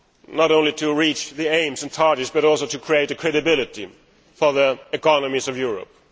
not only to reach the aims and targets but also to have credibility in the economies of Europe.